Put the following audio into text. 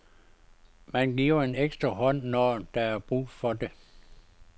Man giver en ekstra hånd, når der er brug for det.